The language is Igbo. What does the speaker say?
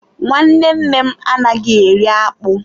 Nwanne nne m anaghị eri akpụ.